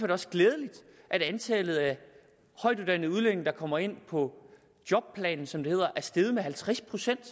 det også glædeligt at antallet af højtuddannede udlændinge der kommer ind på jobplan som det hedder er steget med halvtreds procent